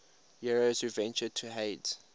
heroes who ventured to hades